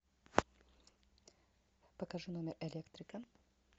покажи номер электрика